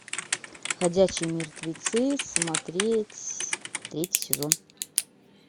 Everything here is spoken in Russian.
ходячие мертвецы смотреть третий сезон